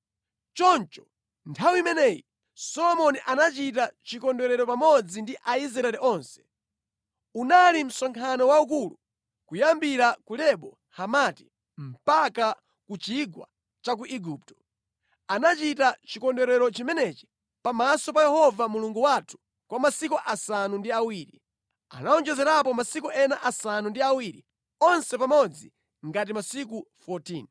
Choncho nthawi imeneyi, Solomoni anachita chikondwerero pamodzi ndi Aisraeli onse. Unali msonkhano waukulu, kuyambira ku Lebo Hamati mpaka ku Chigwa cha ku Igupto. Anachita chikondwerero chimenechi pamaso pa Yehova Mulungu wathu kwa masiku asanu ndi awiri, anawonjezerapo masiku ena asanu ndi awiri, onse pamodzi ngati masiku 14.